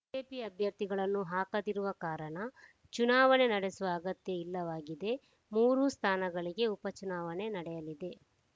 BJP ಅಭ್ಯರ್ಥಿಗಳನ್ನು ಹಾಕದಿರುವ ಕಾರಣ ಚುನಾವಣೆ ನಡೆಸುವ ಅಗತ್ಯ ಇಲ್ಲವಾಗಿದೆ ಮೂರು ಸ್ಥಾನಗಳಿಗೆ ಉಪಚುನಾವಣೆ ನಡೆಯಲಿದೆ